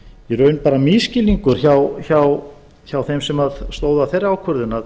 í raun bara misskilningur hjá þeim sem stóðu að þeirri ákvörðun að